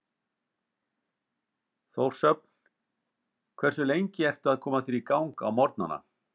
Þórshöfn Hversu lengi ertu að koma þér í gang á morgnanna?